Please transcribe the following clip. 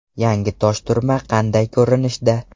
Yangi Toshturma qanday ko‘rinishda?